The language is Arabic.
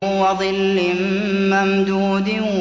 وَظِلٍّ مَّمْدُودٍ